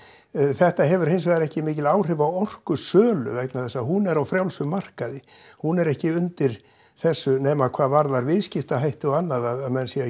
þetta hefur hins vegar ekki mikil áhrif á orkusölu vegna þess að hún hún er á frjálsum markaði hún er ekki undir þessu nema hvað varðar viðskiptahætti og annað að menn séu